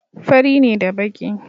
Fari ne da baƙi.